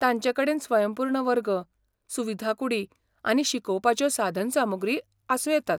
तांचेकडेन स्वयंपूर्ण वर्ग, सुविधा कूडी आनी शिकोवपाच्यो साधनसामुग्री आसूं येतात.